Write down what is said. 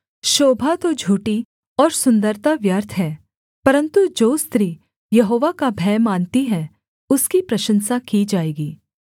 शोभा तो झूठी और सुन्दरता व्यर्थ है परन्तु जो स्त्री यहोवा का भय मानती है उसकी प्रशंसा की जाएगी